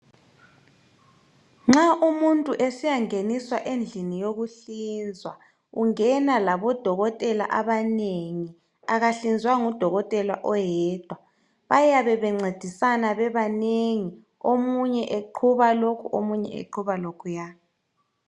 Nxa umuntu esiyangeniswa endlini yokuhlinzwa ungenalabodokotela abanengi, akahlinzwa ngudokotela oyedwa bayabe bencedisana bebanengi omunye eqhuba lokhu ,omunye eqhuba lokhuya.